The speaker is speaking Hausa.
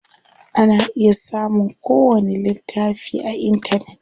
Ana iya samun ko wani littafi a intanet.